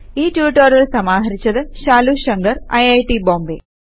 ഈ റ്റുറ്റൊരിയൽ സമാഹരിച്ചത് ശാലു ശങ്കർ ഐറ്റ് ബോംബേ